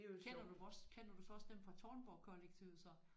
Kender du vores kender du så også dem fra Tårnborgkollektivet så